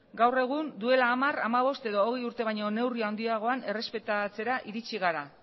gaur egun duela hamar hamabost edo hogei urte baino neurri handiagoan errespetatzera iritsi gara